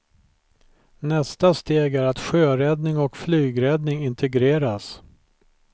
Nästa steg är att sjöräddning och flygräddning integreras.